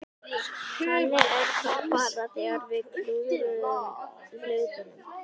Þannig er það bara þegar við klúðrum hlutunum.